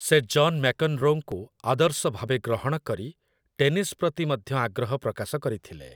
ସେ ଜନ୍ ମ୍ୟାକ୍‌ନ୍‌ରୋଙ୍କୁ ଆଦର୍ଶ ଭାବେ ଗ୍ରହଣ କରି, ଟେନିସ୍ ପ୍ରତି ମଧ୍ୟ ଆଗ୍ରହ ପ୍ରକାଶ କରିଥିଲେ ।